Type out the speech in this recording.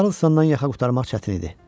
Karlsandan yaxa qurtarmaq çətin idi.